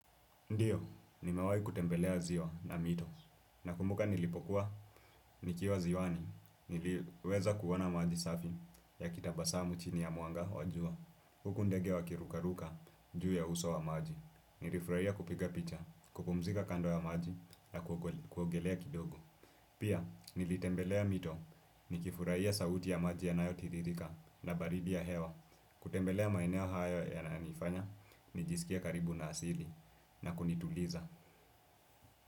Ndio, nimewai kutembelea ziwa na mito nakumbuka nilipokuwa, nikiwa ziwani, niliweza kuona maji safi yakitabasamu chini ya mwanga wa jua, huku ndege wakirukaruka juu ya uso wa maji, nilifurahia kupiga picha, kupumzika kando ya maji na kuogelea kidogo. Pia, nilitembelea mito ni kifurahiayl sauti ya maji yanaayo tiririka na baridi ya hewa. Kutembelea maeneo haya yananifanya, nijisikie karibu na asili na kunituliza.